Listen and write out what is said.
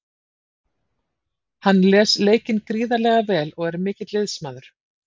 Hann les leikinn gríðarlega vel og er mikill liðsmaður.